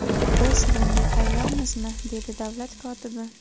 Biz bunga tayyormizmi?” dedi davlat kotibi.